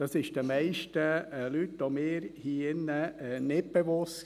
Das war den meisten Leuten hier im Saal, auch mir, nicht bewusst.